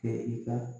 Kɛ i ka